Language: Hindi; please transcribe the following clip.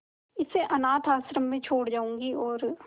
इसे अनाथ आश्रम में छोड़ जाऊंगी और